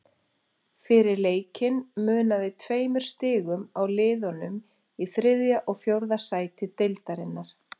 Fyrir leikinn munaði tveimur stigum á liðunum í þriðja og fjórða sæti deildarinnar.